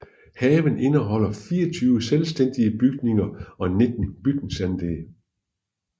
Haven indeholder 24 selvstændige bygninger og 19 bygningsanlæg